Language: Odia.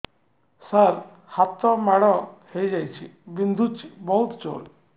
ସାର ହାତ ମାଡ଼ ହେଇଯାଇଛି ବିନ୍ଧୁଛି ବହୁତ ଜୋରରେ